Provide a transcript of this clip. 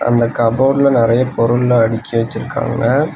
அந்த கப்போர்டுல நெறைய பொருள்ளா அடுக்கி வச்சிருக்காங்க.